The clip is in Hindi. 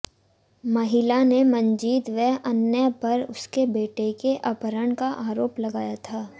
महिला ने मंजीत व अन्य पर उसके बेटे के अपहरण का आरोप लगाया था